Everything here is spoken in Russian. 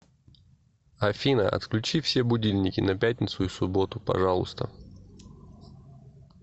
афина отключи все будильники на пятницу и субботу пожалуйста